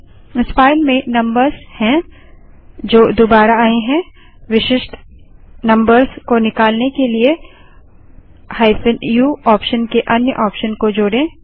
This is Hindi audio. इस फाइल में नम्बर्स हैं जो दुबारा आए हैं विशिष्ट नम्बर्स को निकालने के लिए -u ऑप्शन के अन्य ऑप्शन को जोड़ें